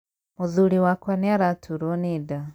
Mũthuri wakwa nĩaraturwo nĩ nda.